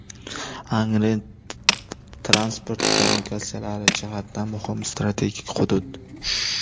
Angren transport kommunikatsiyalari jihatidan muhim strategik hudud.